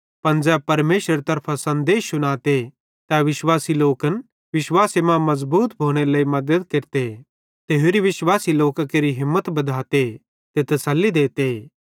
पन ज़ै परमेशरेरे तरफां सन्देश शुनाते तै विश्वासी लोकन विश्वासे मां मज़बूत भोनेरे लेइ मद्दत केरते ते होरि विश्वासी लोकां केरि हिम्मत बद्धाते ते तस्सली देते